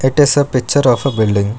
It is a picture of a building.